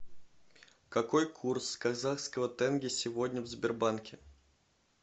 какой курс казахского тенге сегодня в сбербанке